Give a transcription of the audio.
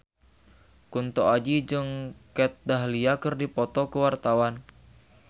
Kunto Aji jeung Kat Dahlia keur dipoto ku wartawan